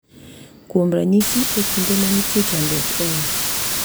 Kuom ranyisi, e kinde ma nitie chandruok e ot .